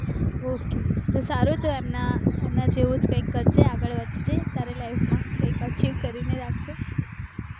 ok તો સારું તો એમને અન જેવુજ કયક કરશે આગળ વધજે તારા life માં achieve કરીને રાખજે